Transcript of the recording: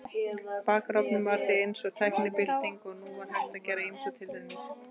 Bakarofninn var því eins og tæknibylting og nú var hægt að gera ýmsar tilraunir.